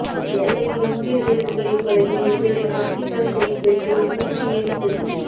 எல்லையில் இந்திய வீரர்களை கொலையின் எதிரொலி பாகிஸ்தான் கொடி பெற்றோல் ஊற்றி எரிப்பு